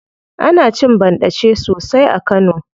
Ana cin banɗace sosai a kano.